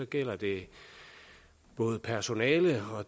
gælder det både personale og